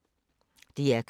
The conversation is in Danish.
DR K